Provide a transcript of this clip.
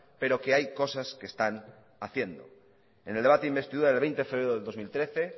pero que hay cosas que están haciendo en el debate de investidura del veinte de febrero del dos mil trece